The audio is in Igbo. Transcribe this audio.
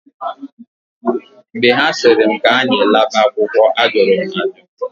Mgbe ha sịrị m k'anyị laba akwụkwọ, ajụrụ m ajụ.